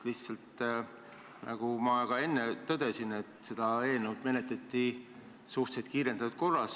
Lihtsalt ütlen, et nagu ma ka enne tõdesin, et seda eelnõu menetleti suhteliselt kiirendatud korras.